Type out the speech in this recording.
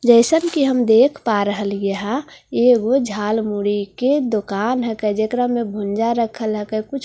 जैसन के हम देख पा रह लिए है ये ऊं झालमुरी की दुकान है काय जा कारा में भुंज्‍जा रखा लागा कुछ पकोड़ी रखा--